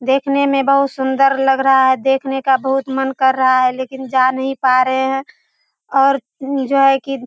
देखने में बहुत सुंदर लग रहा है देखने का बहुत मन कर रहा है लेकिन जा नहीं पा रहे हैं और उ जो है की --